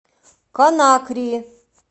конакри